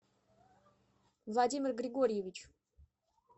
владимир григорьевич